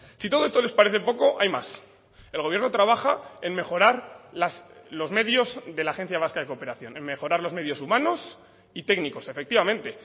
si todo esto les parece poco hay más el gobierno trabaja en mejorar los medios de la agencia vasca de cooperación en mejorar los medios humanos y técnicos efectivamente